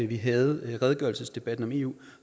vi havde redegørelsesdebatten om eu